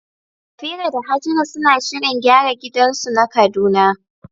Safira da Hajara suna shirin gyara gidansu na Kaduna.